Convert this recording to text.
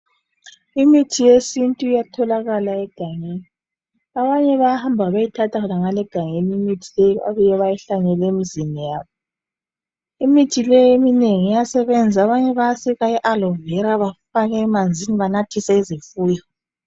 Imithi yesintu iyatholakala egangeni abanye bayahamba bayeyithatha ngale egangen bebuye beyihlanyele emzini yabo imithi le eminengi iyasebenza abaye bayasika iAlovera bayifake emanzini benathise izifuyo